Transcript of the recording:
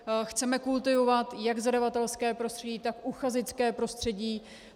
Chceme kultivovat jak zadavatelské prostředí, tak uchazečské prostředí.